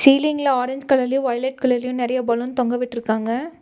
சீலிங்ல ஆரஞ்ச் கலர்லயு வைலட் கலர்லயு நெறைய பலூன் தொங்க விட்ருக்காங்க.